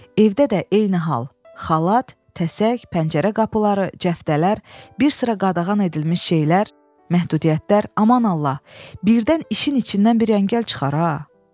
Evdə də eyni hal: xalat, təsək, pəncərə qapıları, cəftələr, bir sıra qadağan edilmiş şeylər, məhdudiyyətlər, aman Allah, birdən işin içindən bir əngəl çıxar.